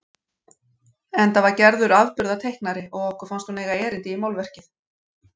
Enda var Gerður afburðateiknari og okkur fannst hún eiga erindi í málverkið.